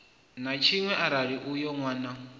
na tshiṅwe arali uyo nwana